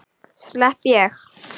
Slepp ég?